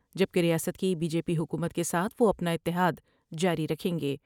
جب کہ ریاست کی بی جے پی حکومت کے ساتھ وہ اپنا اتحاد جاری رکھیں گے ۔